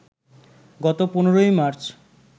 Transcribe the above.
গত ১৫ই মার্চ